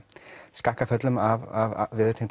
skakkaföllum af